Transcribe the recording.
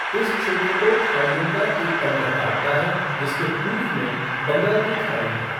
इस क्षेत्र को खाड़ियों का एक तंत्र काटता है जिसके पूर्व में बंगाल की खाड़ी है।